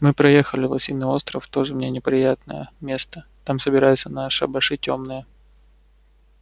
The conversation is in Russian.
мы проехали лосиный остров тоже мне неприятное место там собираются на шабаши тёмные